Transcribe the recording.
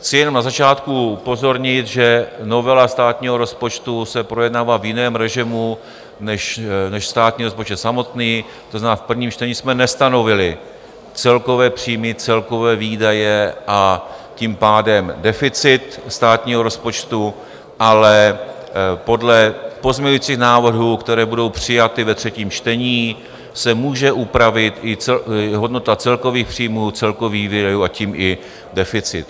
Chci jen na začátku upozornit, že novela státního rozpočtu se projednává v jiném režimu než státní rozpočet samotný, to znamená, v prvním čtení jsme nestanovili celkové příjmy, celkové výdaje, a tím pádem deficit státního rozpočtu, ale podle pozměňujících návrhů, které budou přijaty ve třetím čtení, se může upravit i hodnota celkových příjmů, celkových výdajů, a tím i deficit.